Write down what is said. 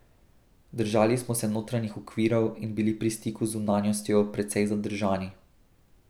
Držali smo se notranjih okvirov in bili pri stiku z zunanjostjo precej zadržani.